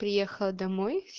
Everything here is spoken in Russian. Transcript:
приехала домой